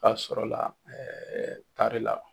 B'a sɔrɔla la la.